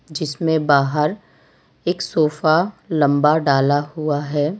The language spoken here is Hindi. जिसमें बाहर एक सोफा लंबा डाला हुआ है।